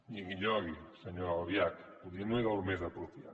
nyigui nyogui senyora albiach potser no era el més apropiat